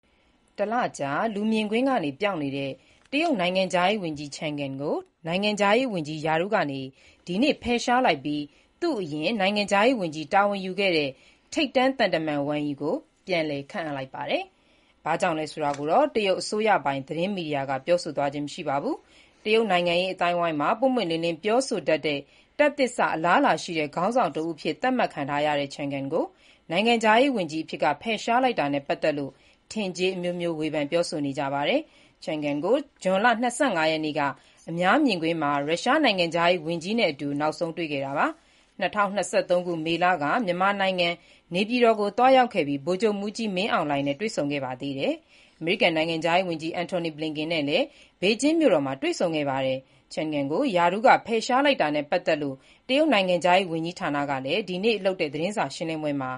တလကြာ လူမြင်ကွင်းကပျောက်နေတဲ့ တရုတ်နိုင်ငံခြားရေး ဝန်ကြီး Qin Gang ကို နိုင်ငံခြားရေးဝန်ကြီးအဖြစ်က ဒီနေ့ ဖယ်ရှားလိုက်ပြီး သူ့အရင်က တာဝန်ယူခဲ့တဲ့ ထိပ်တန်းသံတမန် Wang Yi ကို ပြန်လည်ခန့်အပ်လိုက်ပါတယ်။ ဘာကြောင့်ဆိုတာကိုတော့ တရုတ်အစိုးရပိုင် သတင်းမီဒီယာက ပြောဆိုသွားခြင်း မရှိပါဘူး။ တရုတ်နိုင်ငံရေး အသိုင်းအဝိုင်းမှာ ပွင့်ပွင့်လင်းလင်း ပြောဆိုတတ်တဲ့ တက်သစ်စ အလားအလာရှိတဲ့ ခေါင်းဆောင်တဉီးအဖြစ် သတ်မှတ်ခံထားရတဲ့ Qin Gang ကို နိုင်ငံခြားရေးဝန်ကြီးအဖြစ်က ဖယ်ရှားလိုက်တာနဲ့ ပတ်သက်လို့ ထင်ကြေးအမျိုးမျိုး ဝေဖန်ပြောဆိုနေကြပါတယ်။ Qin Gang ကို ဇွန်လ ၂၅ ရက်နေ့က အများမြင်ကွင်းမှာ ရုရှားနိုင်ငံခြားရေးဝန်ကြီးနဲ့အတူ နောက်ဆုံးတွေ့ခဲ့တာပါ။ သူဟာ ၂၀၂၃ ခုနှစ် မေလက မြန်မာနိုင်ငံ နေပြည်တော်ကို သွားရောက်ပြီး ဗိုလ်ချုပ်မှူးကြီး မင်းအောင်လှိုင်နဲ့ တွေ့ဆုံခဲ့ပါတယ်။ အမေရိကန်နိုင်ငံခြားရေးဝန်ကြီး Antony Blinken နဲ့လည်း ဘေဂျင်းမြို့တော်မှာ ပြီးခဲ့တဲ့ ဇွန်လ ၁၈ရက်နေ့ကပဲ တွေ့ဆုံခဲ့တာပါ။ Qin Gang ကို ရာထူးက ဖယ်ရှားလိုက်တာနဲ့ ပတ်သက်လို့ တရုတ်နိုင်ငံခြားရေး ဝန်ကြီးဌာနကလည်း ဒီနေ့ သတင်းစာရှင်းလင်းပွဲမှ